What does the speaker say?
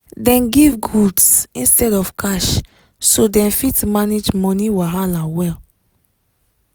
dem give goods instead of cash so dem fit manage money wahala well